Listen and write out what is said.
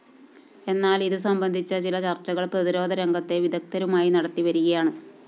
എന്നാല്‍ ഇതുസംബന്ധിച്ച ചില ചര്‍ച്ചകള്‍ പ്രതിരോധ രംഗത്തെ വിദഗ്ധരുമായി നടത്തിവരികയാണ്